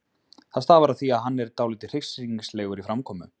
Það stafar af því að hann er dálítið hryssingslegur í framkomu.